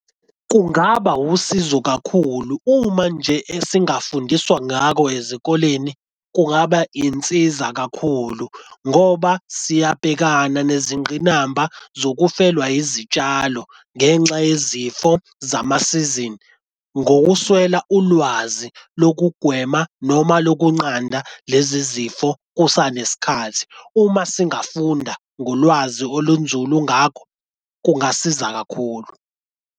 Kungaba usizo kakhulu, uma nje esingafundiswa ngakho ezikoleni kungaba insiza kakhulu ngoba siyabhekana nezingqinamba zokufelwa izitshalo ngenxa yezifo zamasizini ngokuswela ulwazi lokugwema noma lokunqanda lezi zifo kusanesikhathi uma singafunda ngolwazi olunzulu ngakho kungasiza kakhulu.